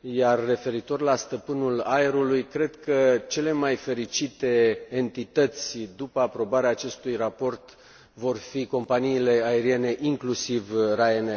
iar referitor la stăpânul aerului, cred că cele mai fericite entități după aprobarea acestui raport vor fi companiile aeriene, inclusiv Ryanair.